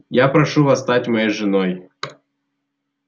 я прошу вас стать моей женой